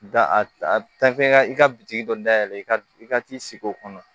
Da a ta f'i ka i ka bitiki dɔ dayɛlɛ i ka i ka t'i sigi o kɔnɔ